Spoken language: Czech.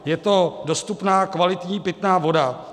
Je to dostupná kvalitní pitná voda.